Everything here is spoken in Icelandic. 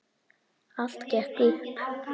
Allt gekk upp.